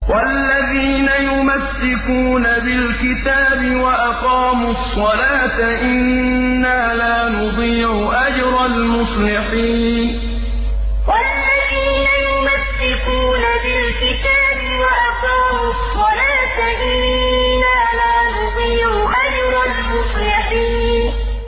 وَالَّذِينَ يُمَسِّكُونَ بِالْكِتَابِ وَأَقَامُوا الصَّلَاةَ إِنَّا لَا نُضِيعُ أَجْرَ الْمُصْلِحِينَ وَالَّذِينَ يُمَسِّكُونَ بِالْكِتَابِ وَأَقَامُوا الصَّلَاةَ إِنَّا لَا نُضِيعُ أَجْرَ الْمُصْلِحِينَ